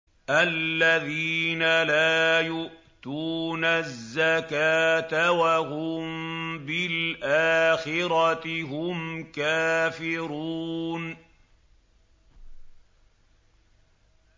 الَّذِينَ لَا يُؤْتُونَ الزَّكَاةَ وَهُم بِالْآخِرَةِ هُمْ كَافِرُونَ